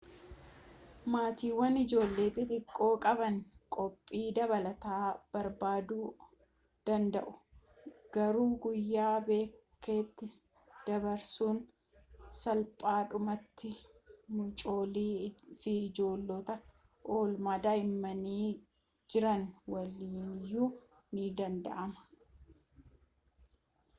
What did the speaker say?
maatiiwwan ijoollee xixiqqoo qaban qophii dabalataa barbaaduu danda'u garuu guyyaa bakkeetti dabarsuun salphaadhumatti mucoolii fi ijoollota oolmaa daa'immanii jiran waliiniyyuu ni danda'ama